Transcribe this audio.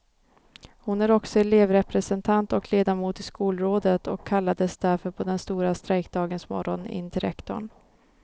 Hon är också elevrepresentant och ledamot i skolrådet och kallades därför på den stora strejkdagens morgon in till rektorn.